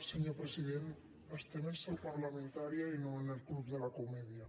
senyor president estem en seu parlamentària i no en el club de la comedia